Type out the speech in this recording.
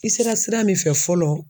I sera sira min fɛ fɔlɔ